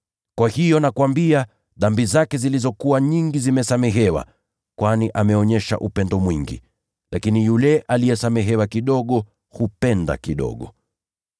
Kwa hiyo, nakuambia, dhambi zake zilizokuwa nyingi zimesamehewa, kwani ameonyesha upendo mwingi. Lakini yule aliyesamehewa kidogo, hupenda kidogo.”